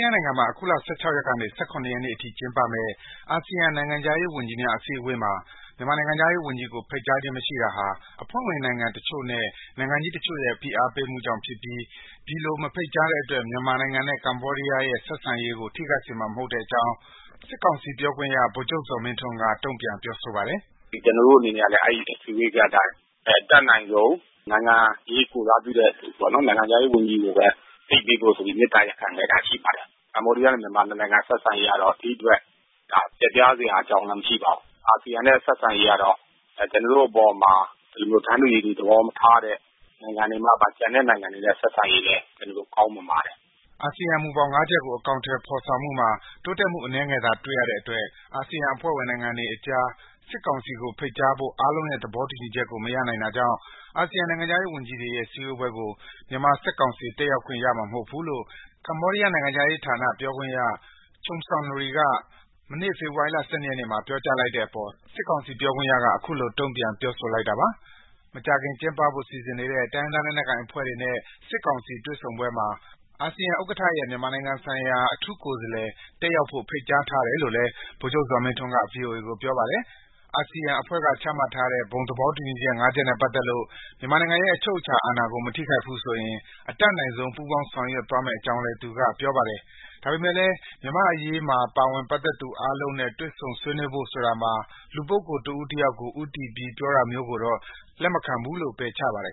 းယားနိုင်ငံမှာ အခုလ ၁၆ ရက်ကေန ၁၇ ရက်နေ့အထိ ကျင်းပမယ့် အာဆီယံ နိုင်ငံခြားရေးဝန်ကြီးများ အစည်းအဝေးမှာ မြန်မာနိုင်ငံခြားရေး ဝန်ကြီးကို ဖိတ်ကြားခြင်း မရှိတာဟာ အဖွဲ့ဝင်နိုင်ငံတချို့နဲ့ နိုင်ငံကြီးတချို့ရဲ့ ဖိအားပေးမှုကြောင့် ဖြစ်ပြီး ဒီလို မဖိတ်ကြားတဲ့အတွက် မြန်မာနိုင်ငံနဲ့ ကမ္ဘောဒီးယား နှစ်နိုင်ငံရဲ့ ဆက်ဆံရေးကို ထိခိုက်စေမှာ မဟုတ်တဲ့အကြောင်း စစ်ကောင်စီဘက်က တုံ့ပြန်ပြောဆိုလိုက်ပါတယ်။ “ကျနော်တို့အနေနဲ့ကလည်း အဲဒီ...အတိုင်း အတတ်နိုင်ဆုံး နိုင်ငံရေးကိုယ်စားပြုတဲ့ နိုင်ငံခြားရေးဝန်ကြီးကိုပဲ ဖိတ်ပေးဖို့ဆိုပြီး မေတ္တာရပ်ခံခဲ့တာရှိပါတယ်။ ကမ္ဘောဒီးယား မြန်မာ နှစ်နိုင်ငံဆက်ဆံရေးကတော့ ဒိအတွက် ပျက်ပြားစရာအကြောင်းလည်း မရှိပါဘူး။ အာဆီယံနဲ့ဆက်ဆံရေးကတော့ ကျနော်တို့အပေါ်မှာ ဒီလို တန်းတူရည်တူသဘောမထားတဲ့ နိုင်ငံတွေမှပါ...ကျန်တဲ့နိုင်ငံတွေနဲ့ဆက်ဆံရေးလည်း ကျနော်တို့ ကောင်းမွန်ပါတယ်။” အာဆီယံမူဘောင် ၅ ချက်ကို အေကာင်အထည်ဖော်ဆောင်မှုမှာ တိုးတက်မှု အနည်းငယ်သာ တွေ့ရတဲ့အတွက် အာဆီယံ အဖွဲ့ဝင်နိုင်ငံတွေအကြား စစ်ကောင်စီကို ဖိတ်ကြားဖို့ အားလုံးရဲ့ သေဘာတူညီချက်ကို မရနိုင်တာကြောင့် အာဆီယံနိုင်ငံခြားရေးဝန်ကြီးတွေရဲ့ စည်းဝေးပွဲကို မြန်မာစစ်ကောင်စီ တက်ရောက်ခွင့်ရမှာ မဟုတ်ဘူးလို့ ကေမ္ဘာဒီးယား နိုင်ငံခြားရေးဌာန ပြောခွင့်ရ Chum Sounry က မေန့ ေဖေဖာ်ဝါရီလ ၂ ရက်နေ့မှာ ပြောကြားလိုက်တဲ့အေပါ် စစ်ကောင်စီ ပြောခွင့်ရက အခုလို တုန့်ပြန် ပြောဆိုတာ ဖြစ်ပါတယ်။ မကြာခင် ကျင်းပဖို့ စီစဉ်နေတဲ့ တိုင်းရင်းသားလက်နက်ကိုင်အဖွဲ့တွေနဲ့ စစ်ကောင်စီ တွေ့ဆုံပွဲမှာ အာဆီယံဥက္ကဋ္ဌရဲ့ မြန်မာနိုင်ငံဆိုင်ရာ အထူးကိုယ်စားလှယ် တက်ရောက်ဖို့ ဖိတ်ကြားထားတယ်လို့လည်း ဗိုလ်ချုပ်ဇော်မင်းထွန်းက VOA ကို ပြောပါတယ်။ အာဆီယံအဖွဲ့က ချမှတ်ထားတဲ့ ဘုံသဘောတူညီချက် ၅ ချက်နဲ့ပတ်သက်လို့ မြန်မာနိုင်ငံရဲ့ အချုပ်အခြာအာဏာကို မထိခိုက်ဘူးဆိုရင် အတတ်နိုင်ဆုံး ပူးပေါင်းဆောင်ရွက်သွားမယ့်အကြောင်းလည်း သူက ပြောပါတယ်။ ဒါပေမဲ့လည်း မြန်မာ့အရေး ပါဝင်ပတ်သက်သူအားလုံးနဲ့ တွေ့ဆုံဆွေးနွေးဖို့ ဆိုတာမှာ လူပုဂ္ဂိုလ်တဦးတယောက်ကို ဦးတည်ပြီး ပြောတာမျိုးကိုတော့ လက်မခံဘူးလို့ ပယ်ချပါတယ်